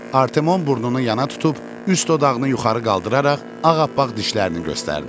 Artemon burnunu yana tutub, üst dodağını yuxarı qaldıraraq ağappaq dişlərini göstərdi.